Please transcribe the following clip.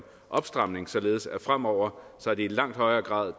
opstramning således at det fremover i langt højere grad